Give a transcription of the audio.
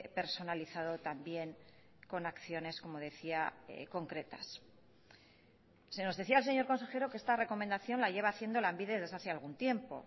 personalizado también con acciones como decía concretas se nos decía el señor consejero que esta recomendación la lleva haciendo lanbide desde hace algún tiempo